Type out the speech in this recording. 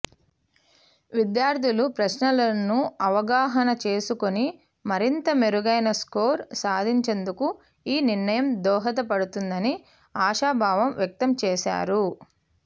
విద్యార్థులు ప్రశ్నలను అవగాహన చేసుకుని మరింత మెరుగైన స్కోర్ సాధించేందుకు ఈ నిర్ణయం దోహదపడుతుందని ఆశాభావం వ్యక్తం చేశారు